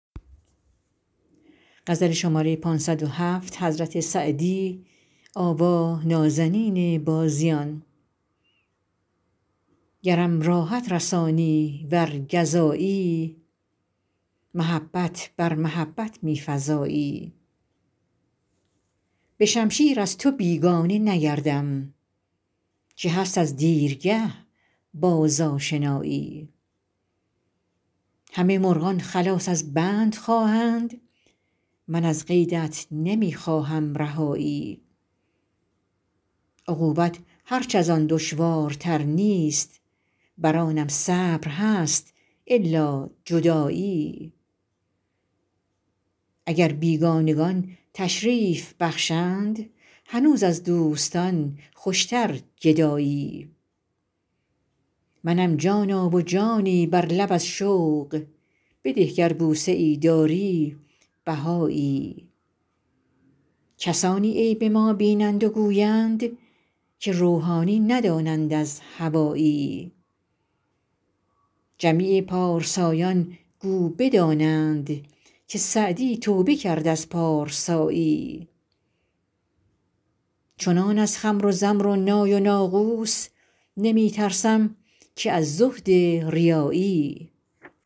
گرم راحت رسانی ور گزایی محبت بر محبت می فزایی به شمشیر از تو بیگانه نگردم که هست از دیرگه باز آشنایی همه مرغان خلاص از بند خواهند من از قیدت نمی خواهم رهایی عقوبت هرچ از آن دشوارتر نیست بر آنم صبر هست الا جدایی اگر بیگانگان تشریف بخشند هنوز از دوستان خوشتر گدایی منم جانا و جانی بر لب از شوق بده گر بوسه ای داری بهایی کسانی عیب ما بینند و گویند که روحانی ندانند از هوایی جمیع پارسایان گو بدانند که سعدی توبه کرد از پارسایی چنان از خمر و زمر و نای و ناقوس نمی ترسم که از زهد ریایی